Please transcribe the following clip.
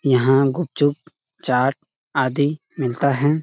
यहाँ पर गुपचुप चाट आदि मिलता है।